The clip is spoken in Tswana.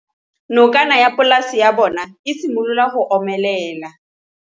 Nokana ya polase ya bona, e simolola go omelela.